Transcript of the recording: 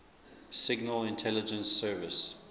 signal intelligence service